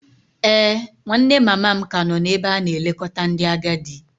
Ee, nwanne mama m ka nọ n'ebe a na-elekọta ndị agadi.